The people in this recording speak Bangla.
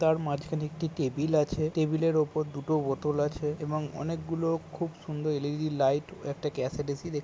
তার মাঝখানে একটি টেবিল আছে। টেবিল - এর উপর দুটো বোতল আছে এবং অনেকগুলো খুব সুন্দর এল.ই.ডি লাইট একটা ক্যাসেড এ.সি দেখতে-- ।